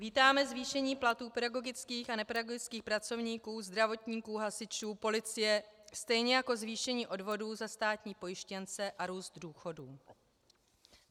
Vítáme zvýšení platů pedagogických a nepedagogických pracovníků, zdravotníků, hasičů, policie, stejně jako zvýšení odvodů za státní pojištěnce a růst důchodů.